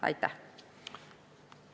Aitäh!